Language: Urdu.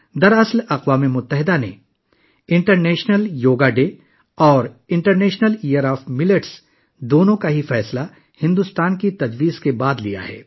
حقیقت، اقوام متحدہ نے بھارت کی تجویز کے بعد یوگا کے بین الاقوامی دن اور موٹے اناج کا بین الاقوامی دن منانے کا فیصلہ کیا ہے